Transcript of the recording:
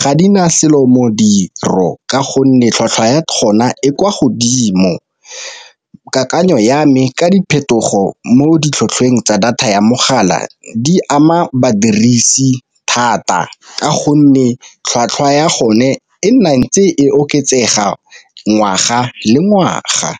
ga di na selo modiro ka gonne tlhwatlhwa ya gona e kwa godimo. Kakanyo ya me ka diphetogo mo ditlhotlhweng tsa data ya mogala di ama badirisi thata, ka gonne tlhwatlhwa ya gone e ntse e oketsega ngwaga le ngwaga.